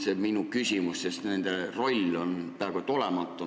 See ongi minu küsimus, sest nende roll on peaaegu et olematu.